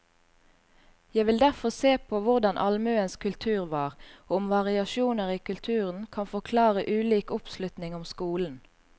Jeg vil derfor se på hvordan allmuens kultur var, og om variasjoner i kulturen kan forklare ulik oppslutning om skolen.